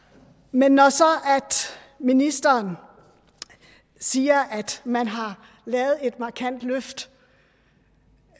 men når så ministeren siger at man har lavet et markant løft